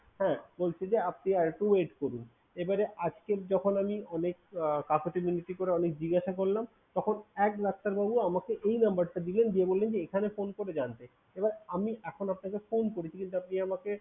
হ্যাঁ বলছে যে আপনি আর একটু wait করুন। এবারে আজকে যখন আমি আমি কাকুতি মিনতি করে অনেক জিজ্ঞাসা করলাম, তখন এক ডাক্তার বাবু আমাকে এই number টা দিলেন। দিয়ে বললেন যে এখানে phone করে জানতে। এবার আমি এখন আপনাকে phone করেছি কিন্তু আপনি আমাকে